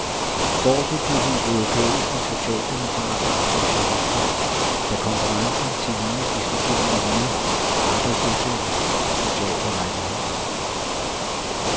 Står det til de europæiske socialdemokrater og socialister, skal konferencen tillige diskutere miljø, arbejdsløshed og sociale rettigheder.